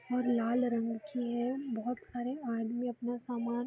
और लाल रंग की है। बोहत सारे आदमी अपना सामान --